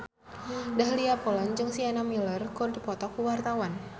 Dahlia Poland jeung Sienna Miller keur dipoto ku wartawan